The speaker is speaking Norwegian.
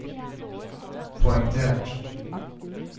poengtert